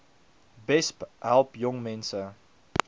besp help jongmense